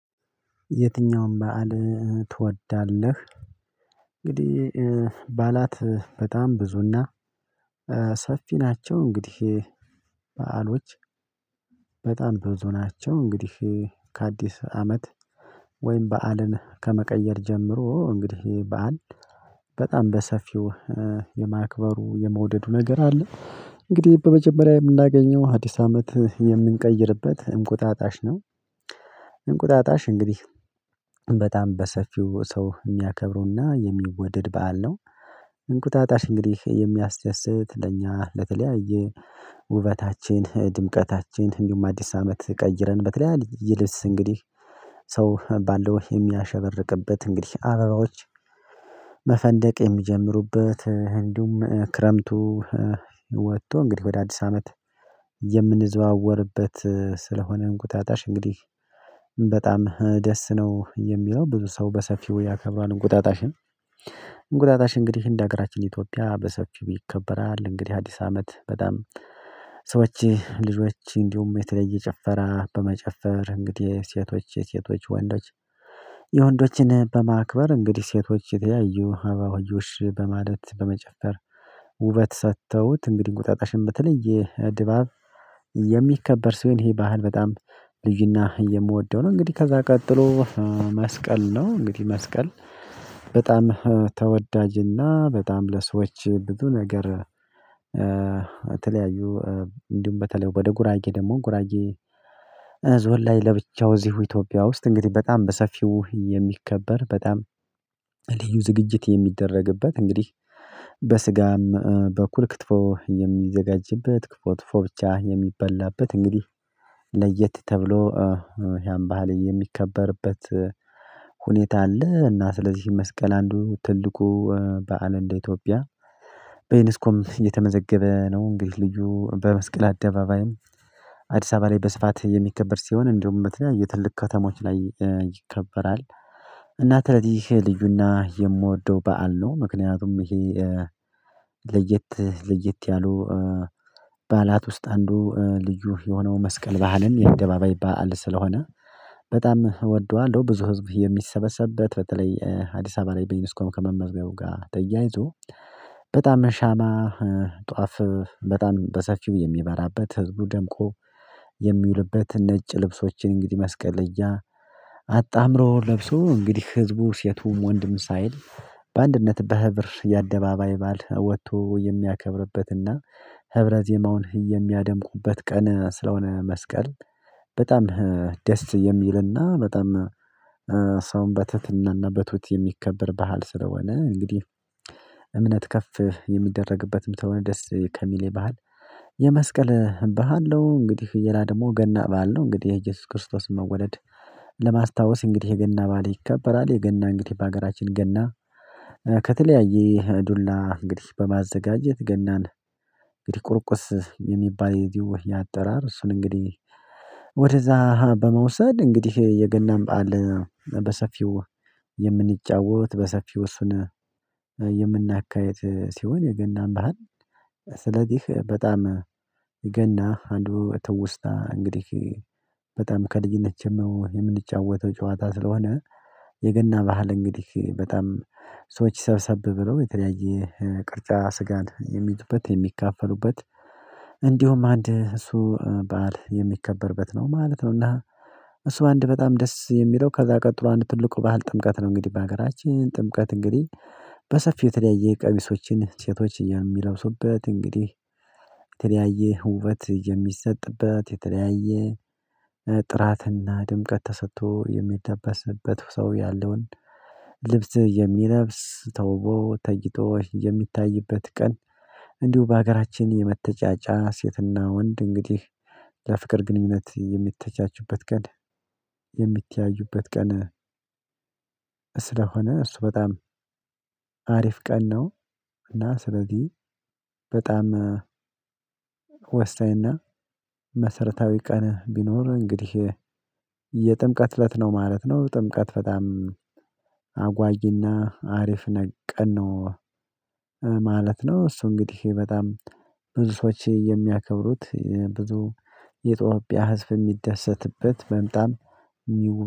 የትኛውን በዓል ትወዳለህ? እንግዲህ ባዕላት በጣም ብዙ እና ሰፊ ናቸው እንግዲህ በዓሎች በጣም ብዙ ናቸው። እንግዲህ ከአዲስ አመት ወይም በዓልን ከመቀየር ጀምሮ እንግዲህ በአንድ በጣም በሰፊው የማክበሩ የመውደዱ ነገር አለ እንግዲህ በመጀመሪያ የምናገኘው አዲስ አመት የምንቀይርበት እንቁጣጣሽ ነው። እንቁጣጣሽ እንግዲህ በጣም በሰፊው ሰው የሚያከብረው እና የሚወደድ በዓል ነው። እንቁጣጣሽ እንግዲህ የሚያስደስት ለእኛ ለተለያየ ውበታችን ድምቀታችን እንዲሁም አዲስ አመት ቀይረን በተለይ ይልስ እንግዲህ ሰው ባለው የሚያሸርቅበት እንግዲህ አበባዎች መፈንደቅ የሚጀምሩበት እንዲሁም ክረምቱ ወጥቶ እንግዲህ ወደ አዲስ አመት የምንዘዋወርበት ስለሆነ እንቁጣጣሽ እንግዲህ በጣም ደስ ነው የሚለው ብዙ ሰው በሰፊው ያከብራል እንቁጣጣሽን። እንግዲህ እንደ ሀገራችን ኢትዮጵያ በሰፊው ይከበራል። እንግዲህ አዲስ አመት በጣም ሰዎች ልጆች እንዲሁም የተለየ ጭፈረ በመጨፈር እንግዲህ ሴቶች የሴቶች ወንዶች የወንዶችን በማክበር እንግዲህ ሴቶች የተለያዩ አበባየሆሽ በማለት በመጨፈር ውበት ሰጥተውት እንግዲህ እንቁጣጣሽም በተለየ ድባብ የሚከበር ሰው ይሄ ባህል በጣም ልዩ እና የምወደው ነው። እንግዲህ ከዛ ቀጥሎ መስቀል ነው እንግዲህ መስቀል በጣም ተወዳጅ እና በጣም ለሰዎች ብዙ ነገር የተለያዩ እንዲሁም በተለይ ወደ ጉራጌ ደግሞ ጉራጌ ዞን ላይ ለብቻው እዚሁ ኢትዮጵያ ውስጥ እንግዲህ በጣም በሰፊው የሚከበር በጣም ልዩ ዝግጅት የሚደረግበት እንግዲህ በስጋም በኩል ክትፎ የሚዘጋጅበት ክትፎ ክትፎ ብቻ የሚበላበት እንግዲህ ለየት ተብሎ ያም ባህል የሚከበርበት ሁኔታ አለ። እና ስለዚህ መስቀል አንዱ ትልቁ በዓል እንደ ኢትዮጵያ በዩኔስኮም እየተመዘገበ ነው እንግዲህ ልዩ በመስቀል አደባባይም አዲስ አበባ ላይ በስፋት የሚከበር ሲሆን እንዲሁም በተለያየ ትልቅ ከተሞች ላይ ይከበራል። እና ትለዚህ ልዩ እና የምወደው በዓል ነው ምክንያቱም ይሄ ለየት ለየት ያሉ በዓላት ውስጥ አንዱ ልዩ የሆነው መስቀል ባህልም የአደባባይ ባዓል ስለሆነ በጣም እወደዋለሁ። ብዙ ህዝብ የሚሰበሰብበት በተለይ አዲስ አበባ ላይ በዩኔስኮም ከመመዝገቡ ጋር ተያይዞ በጣም ሻማ ጧፍ በጣም በሰፊው የሚበራበት ህዝቡ ደምቆ የሚውልበት ነጭ ልብሶችን እንግዲህ መስቀል ለይ አጣምሮ ለብሶ እንግዲህ ህዝቡ ሴቱም ወንድም ሳይል በአንድነት በህብር የአደባባይ ባዓል ወጥቶ የሚያከብርበት እና ህብረ ዜማውን የሚያደምቁበት ቀን ስለሆነ መስቀል በጣም ደስ የሚል እና በጣም ሰውም በትህትና እና በትሁት የሚከበር ባህል ስለሆነ እንግዲህ እምነት ከፍ የሚደረግበትም ስለሆነ ደስ ከሚለኝ ባህል የመስቀል ባህል ነው። እንግዲህ ሌላ ደግሞ ገና በዓል ነው እንግዲህ የኢየሱስ ክርስቶስ መወለድ ለማስታወስ እንግዲህ የገና በዓል ይከበራል። የገና እንግዲህ በሀገራችን ገና ከተለያየ ዱላ እንግዲህ በማዘጋጀት ገናን እንግዲህ ቁርቁስ የሚባል የዚሁ የአጠራር እሱን እንግዲህ ወደዛ በመውሰድ እንግዲህ የገናን በዓል በሰፊው የምንጫወት በሰፊው እሱን የምናካሂድ ሲሆን የገናን ባህል ስለዚህ በጣም የገና አንዱ ትውስታ እንግዲህ በጣም ከልጅነት ጀመሮ የምንጫወተው ጨዋታ ስለሆነ የገና ባህል እንግዲህ በጣም ሰዎች ሰብሰብ ብለው የተለያየ ቅርጫ ስጋን የሚይዙበት የሚከፋፈሉበት እንዲሁም አንድ እሱ በዓል የሚከበርበት ነው ማለት ነው። እና እሱ አንድ በጣም ደስ የሚለው ከዛ ቀጥሎ አንድ ትልቁ ባህል ጥምቀት ነው። እንግዲህ በሀገራችን ጥምቀት እንግዲህ በሰፊው የተለያየ ቀሚሶችን ሴቶች የሚለብሱበት እንግዲህ የተለያየ ውበት የሚሰጥበት የተለያየ ጥራት እና ድምቀት ተሰጥቶ የሚለበስበት ሰው ያለውን ልብስ የሚለብስ ተውቦ ተጊጦ የሚታይበት ቀን እንዲሁ በሀገራችን የመተጫጫ ሴት እና ወንድ እንግዲህ ለፍቅር ግንኙነት የሚተጫጩበት ቀን የሚተያዩበት ቀን ስለሆነ እሱ በጣም አሪፍ ቀን ነው። እና ስለዚህ በጣም ወሳኝ እና መሰረታዊ ቀን ቢኖር እንግዲህ የጥምቀት እለት ነው ማለት ነው። ጥምቀት በጣም አጓጊ እና አሪፍ ቀን ነው ማለት ነው። እሱ እንግዲህ በጣም ብዙ ሰዎች የሚያከብሩት ብዙ የኢትዮጵያ ህዝብ የሚደሰትበት በጣም